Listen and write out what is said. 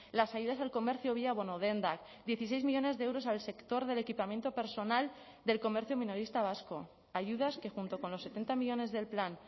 las ayudas al comercio vía bono dendak dieciseis millónes de euros al sector del equipamiento personal del comercio minorista vasco ayudas que junto con los setenta millónes del plan